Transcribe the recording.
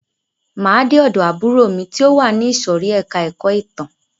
Máa de ọ̀dọ̀ àbúrò mi ti o wà ní ìsòrí ẹka ẹ̀kọ́ ìtàn.